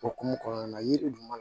O hokumu kɔnɔna na yiri dun